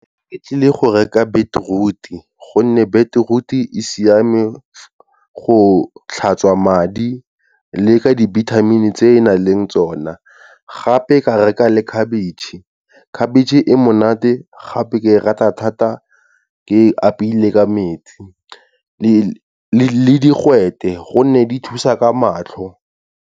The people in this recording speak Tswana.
Ke tlile go reka beetroot-e, gonne beetroot-e e siame go tlhatswa madi le ka dibithamini tse e e nang le tsona, gape ka reka le khabetšhe, khabetšhe e monate gape ke e rata thata ke apeile ka metsi le digwete, gonne di thusa ka matlho.